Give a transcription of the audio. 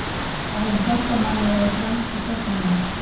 Það hefur hjálpað manni að vera fremsti sóknarmaður.